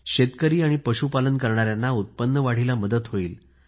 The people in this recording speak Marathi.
शेतकरी आणि पशु पालन करणाऱ्यांना उत्पन्न वाढीला मदत होईल